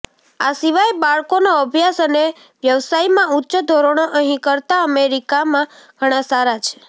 આ સિવાય બાળકોનો અભ્યાસ અને વ્યવસાયમાં ઉચ્ચ ધોરણો અહીં કરતાં અમેરિકામાં ઘણા સારા છે